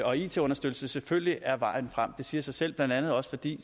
og it understøttelse selvfølgelig er vejen frem det siger sig selv blandt andet også fordi